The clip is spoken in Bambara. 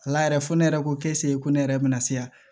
Ala yɛrɛ fo ne yɛrɛ ko ko ne yɛrɛ bɛna siran